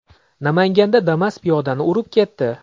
Namanganda Damas piyodani urib ketdi.